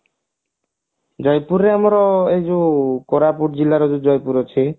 ଜୟପୁରରେ ଆମର ଯୋଉ କୋରାପୁଟ ଜିଲ୍ଲାର ଯୋଉ ଜଯପୁର ଅଛି